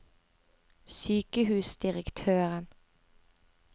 sykehusdirektøren